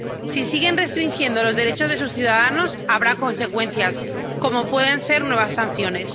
Si siguen restringiendo los derechos de sus ciudadanos, habrá consecuencias, como pueden ser nuevas sanciones.